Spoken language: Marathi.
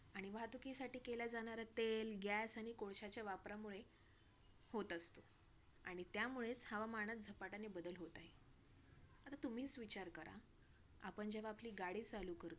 आणि वाहतुकीसाठी केल्या जाणाऱ्या तेल gas आणि कोळश्याचा वापरामुळे होत असते आणि त्यामुळे हवामानात झपाट्याने बदल होत आहे. आता तुम्हीच विचार करा, आपण जेव्हा आपली गाडी चालू करतो.